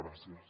gràcies